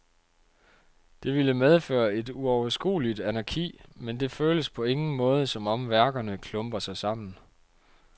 Det ville medføre et uoverskueligt anarki, men det føles på ingen måde, som om værkerne klumper sig sammen.